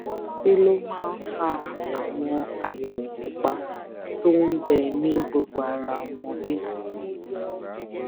kí ló máa ń fa àwọn àyèwò pupa tó ń bẹ ní gbogbo ara ọmọdé